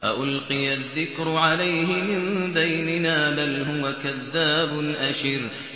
أَأُلْقِيَ الذِّكْرُ عَلَيْهِ مِن بَيْنِنَا بَلْ هُوَ كَذَّابٌ أَشِرٌ